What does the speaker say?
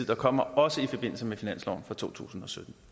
kommer også i forbindelse med finansloven for totusinde